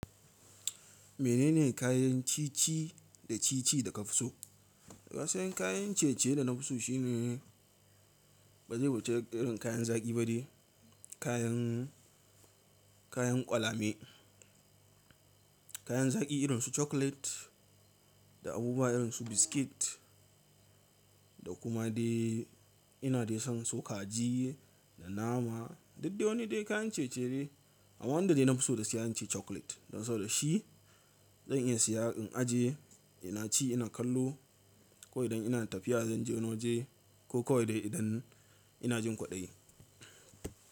Menene kayan ci ci da ci ci da ka fi so? Wasu yan kayan ciye-ciye da na fi so shi ne ba zai wuce irin kayan zaƙi ba dai, kayan, kayan ƙwalame, kayan zaƙi irin su chocolate da abubuwa irin su biscuit da kuma dai ina dai son so kaji da nama. Duk dai wani dai kayan ciye-ciye. Amma wanda dai na fi so da siya zan ce chocolate. Don saboda shi zan iya siya in ajiye, ina ci ina kallo ko idan ina tafiya zan je wani waje ko kawai dai idan ina jin kwaɗayi.